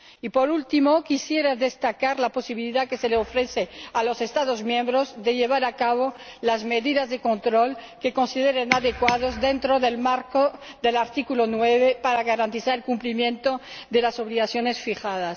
Y, por último, quisiera destacar la posibilidad que se ofrece a los Estados miembros de llevar a cabo las medidas de control que consideren adecuadas, dentro del marco del artículo 9, para garantizar el cumplimiento de las obligaciones fijadas.